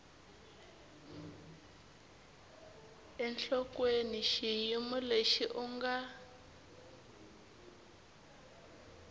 enhlokweni xiyimo lexi u nga